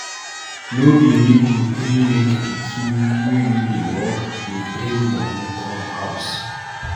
No be me go gree make pikin wey no dey work dey bring moni come house.